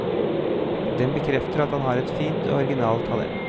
Den bekrefter at han har et fint og originalt talent.